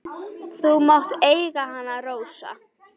Þú mátt eiga hana, Rósa.